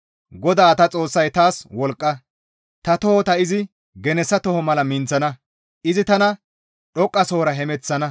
GODA Ta Xoossay taas wolqqa; ta tohota izi genessa toho mala minththo; izi tana dhoqqasohora hemeththana. Yexxizayta kaaleththizaades yeththa miishshan yexettida mazamure.